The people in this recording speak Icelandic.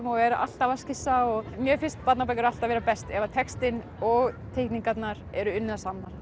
og er alltaf að skissa mér finnst barnabækur alltaf vera bestar ef textinn og teikningarnar eru unnar saman